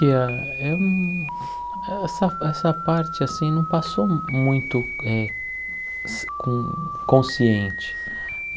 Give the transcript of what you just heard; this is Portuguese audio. eu hum essa essa parte assim não passou mu muito eh con consciente.